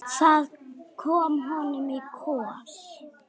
Það kom honum í koll.